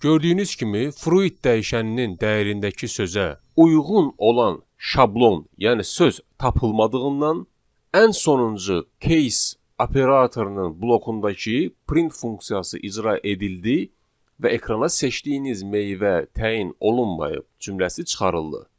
Gördüyünüz kimi, fruit dəyişəninin dəyərindəki sözə uyğun olan şablon, yəni söz tapılmadığından ən sonuncu case operatorunun blokundakı print funksiyası icra edildi və ekrana seçdiyiniz meyvə təyin olunmayıb cümləsi çıxarıldı.